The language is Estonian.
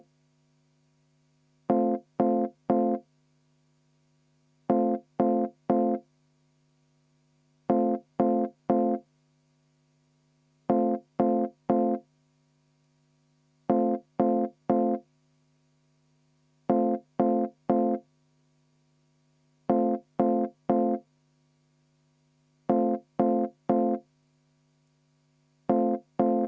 V a h e a e g